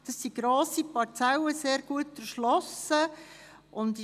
Es handelt sich dabei um grosse, sehr gut erschlossene Parzellen.